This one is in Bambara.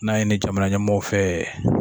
N'a ye ni jamana ɲɛmɔgɔw fɛ